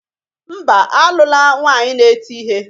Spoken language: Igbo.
Mba, alula nwanyi na-eti ihe